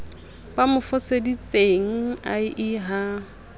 ba mo foseditsenge ie ha